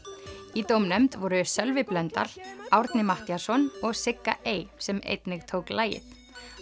í dómnefnd voru Sölvi Blöndal Árni Matthíasson og Sigga ey sem einnig tók lagið